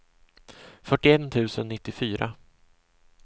fyrtioett tusen nittiofyra